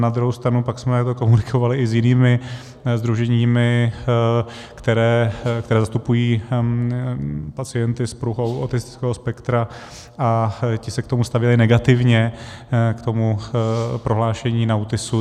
Na druhou stranu pak jsme to komunikovali i s jinými sdruženími, která zastupují pacienty s poruchou autistického spektra, a ti se k tomu stavěli negativně, k tomu prohlášení NAUTISu.